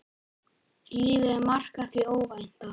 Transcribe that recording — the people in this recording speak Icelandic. Lífið er markað því óvænta.